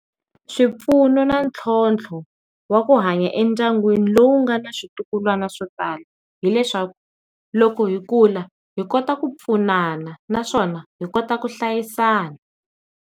Swipfuno na ntlhontlho wa ku hanya endyangwini lowu nga na switukulwana swo tala, hileswaku loko hi kula hi kota ku pfunana naswona hi kota ku hlayisana.